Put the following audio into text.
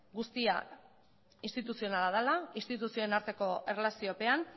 guztia instituzionala dela instituzioen arteko erlaziopean